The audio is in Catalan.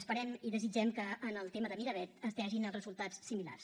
esperem i desitgem que en el tema de miravet es vegin els resultats similars